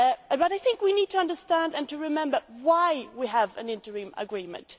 But I think we need to understand and remember why we have an interim agreement.